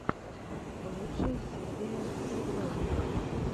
лучшая серия хедлайнера